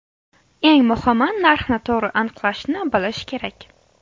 Eng muhimi – narxni to‘g‘ri aniqlashni bilish kerak.